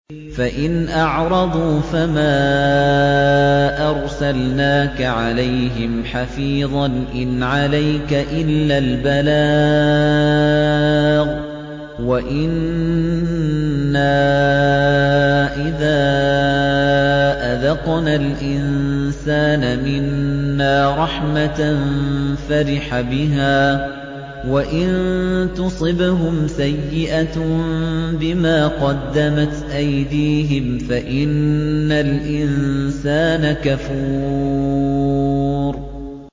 فَإِنْ أَعْرَضُوا فَمَا أَرْسَلْنَاكَ عَلَيْهِمْ حَفِيظًا ۖ إِنْ عَلَيْكَ إِلَّا الْبَلَاغُ ۗ وَإِنَّا إِذَا أَذَقْنَا الْإِنسَانَ مِنَّا رَحْمَةً فَرِحَ بِهَا ۖ وَإِن تُصِبْهُمْ سَيِّئَةٌ بِمَا قَدَّمَتْ أَيْدِيهِمْ فَإِنَّ الْإِنسَانَ كَفُورٌ